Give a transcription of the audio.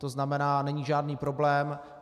To znamená, není žádný problém.